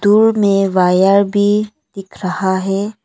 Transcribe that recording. दूर में वायर भी दिख रहा है।